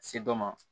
Se dɔ ma